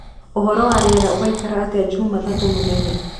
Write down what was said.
uhoro wa rĩera ugaikara atĩa jumatatũ mũthenya